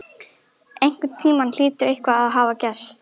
Einhvern tímann hlýtur eitthvað að hafa gerst.